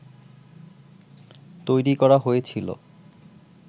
তৈরী করা হয়েছিলো